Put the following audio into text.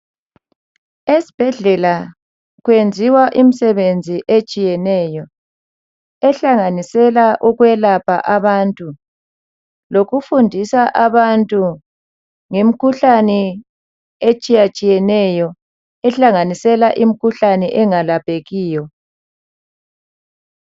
Esibhedlela kuyenziwa imisebenzi etshiyeneyo ehlanganisela ukwelapha abantu lokufundisa abantu ngemkhuhlane etshiyatshiyeneyo ehlanganisela imkhuhlane engelaphekiyo.